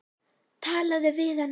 Talaðu við hana.